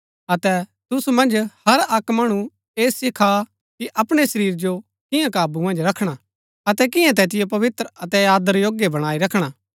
अतै तुसु मन्ज हर अक्क मणु ऐह सिखा कि अपणै शरीर जो किआं काबू मन्ज रखणा अतै किआं तैतिओ पवित्र अतै आदर योग्य बणाई रखणा